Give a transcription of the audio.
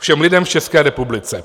Všem lidem v České republice.